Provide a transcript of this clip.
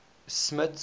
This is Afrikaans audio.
smuts